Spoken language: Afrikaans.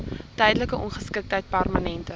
tydelike ongeskiktheid permanente